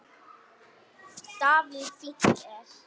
Davíð Fínt er.